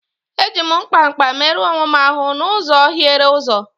Eji m mkpa mkpa merụọ onwe m ahụ n'ụzọ hiere ụzọ.